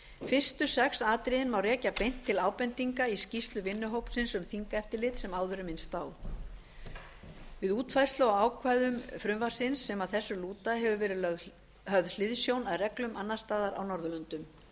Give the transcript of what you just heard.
fyrstu sex atriðin má rekja beint til ábendinga í skýrslu vinnuhópsins um þingeftirlit sem áður er minnst á við útfærslu á ákvæðum frumvarpsins sem að þessu lúta hefur verið höfð hliðsjón af reglum annars staðar á norðurlöndum